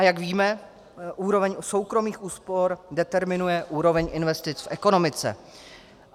A jak víme, úroveň soukromých úspor determinuje úroveň investic v ekonomice.